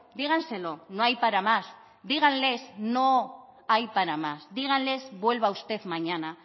díganselo no hay para más díganles no hay para más díganles vuelva usted mañana